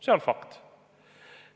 See on fakt.